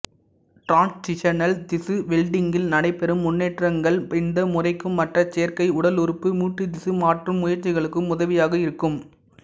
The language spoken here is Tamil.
டிரான்சிஷனல் திசு வெல்டிங்கில் நடைபெறும் முன்னேற்றங்கள் இந்த முறைக்கும் மற்ற செயற்கை உடலுறுப்புமூட்டுதிசு மாற்றும் முயற்சிகளுக்கும் உதவியாக இருக்கும்